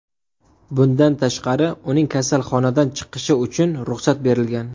Bundan tashqari, uning kasalxonadan chiqishi uchun ruxsat berilgan.